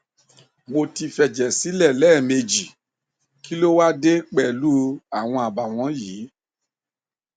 mo ti fẹjẹ sílẹ lẹẹmejì kí ló wá á dé pẹlú u àwọn àbàwọn yìí